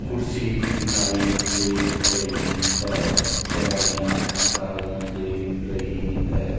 कुर्सी दिखाई दे रही है दवाइयां दिखाई दे रही है।